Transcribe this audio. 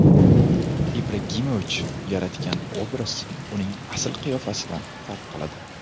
Ibragimovich yaratgan obraz uning asl qiyofasidan farq qiladi.